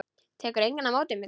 Tekur enginn á móti þér?